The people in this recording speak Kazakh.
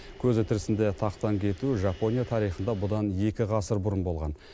көзі тірісінде тақтан кету жапония тарихында бұдан екі ғасыр бұрын болған